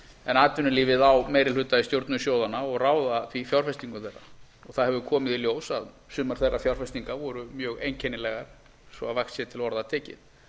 en atvinnulífið á meiri hluta í stjórnum sjóðanna og ræður því fjárfestingum þeirra það hefur komið í ljós að sumar þeirra fjárfestinga voru mjög einkennilegar svo að vægt sé til orða tekið